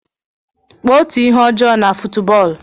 Kpụọ otu ihe ọjọ na fuutbọọlụ?